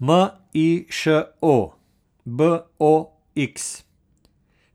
M I Š O, B O X;